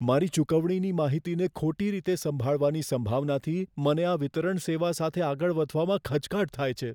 મારી ચુકવણીની માહિતીને ખોટી રીતે સંભાળવાની સંભાવનાથી, મને આ વિતરણ સેવા સાથે આગળ વધવામાં ખચકાટ થાય છે.